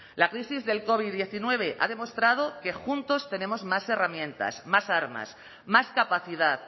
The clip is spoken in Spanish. la crisis del covid diecinueve ve ha demostrado que juntos tenemos más herramientas más armas más capacidad